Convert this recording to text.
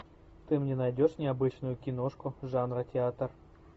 ты мне найдешь необычную киношку жанра театр